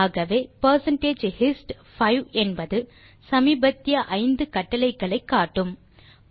ஆகவே percentage hist 5 என்பது சமீபத்திய 5 கட்டளைகளை காட்டும்